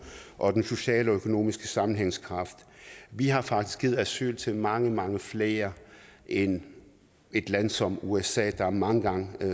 og den sociale og økonomiske sammenhængskraft vi har faktisk givet asyl til mange mange flere end et land som usa der er mange gange